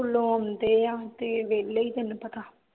ਸਕੂਲੋਂ ਆਉਂਦੇ ਆ ਤੇ ਵੇਹਲੇ ਈ ਤੈਨੂੰ ਪਤਾ